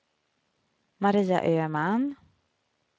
Maria Öhman